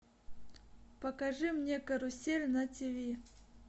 покажи мне карусель на тиви